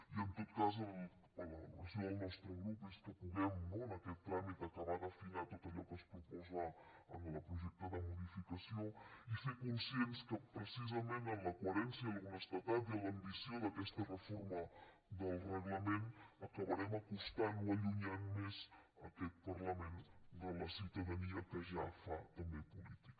i en tot cas la valoració del nostre grup és que puguem no en aquest tràmit acabar d’afinar tot allò que es proposa en el projecte de modificació i ser conscients que precisament amb la coherència amb l’honestedat i amb l’ambició d’aquesta reforma del reglament acabarem acostant o allunyant més aquest parlament de la ciutadania que ja fa també política